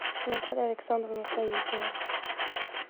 наталья александровна саютина